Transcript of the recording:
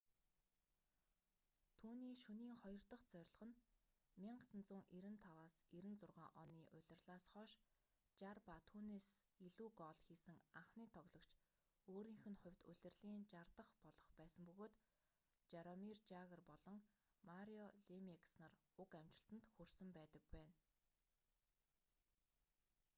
түүний шөнийн хоёр дах зорилго нь 1995-96 оны улирлаас хойш 60 ба түүнээс илүү гоол хийсэн анхны тоглогч өөрийнх нь хувьд улирлын 60 дах болох байсан бөгөөд жаромир жагр болон марио лемиекс нар уг амжилтанд хүрсэн байдаг байна